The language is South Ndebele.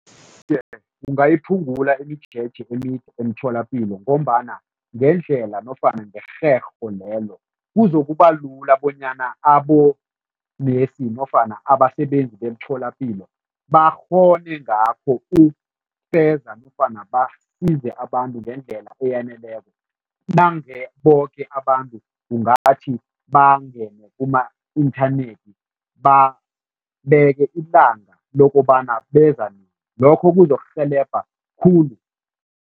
Kungayiphungula imijeje emide emtholapilo ngombana ngendlela nofana ngerherho lelo, kuzokuba lula bonyana abonesi nofana abasebenzi beemtholapilo bakghone ngakho ukufeza nofana basize abantu ngendlela eyaneleko nange boke abantu kungathi bangene kuma-inthanethi babeke ilanga lokobana beza nini, lokho kuzokurhelebha khulu.